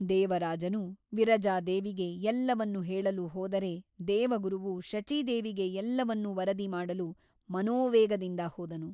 ದೇವರಾಜನು ವಿರಜಾದೇವಿಗೆ ಎಲ್ಲವನ್ನೂ ಹೇಳಲು ಹೋದರೆ ದೇವಗುರುವು ಶಚೀದೇವಿಗೆ ಎಲ್ಲವನ್ನೂ ವರದಿ ಮಾಡಲು ಮನೋವೇಗದಿಂದ ಹೋದನು.